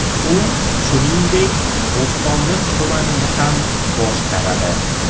U, shuningdek, Bo‘stonliq tumanini ham boshqaradi.